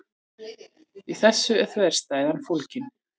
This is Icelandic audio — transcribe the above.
Í þessu er þverstæðan fólgin.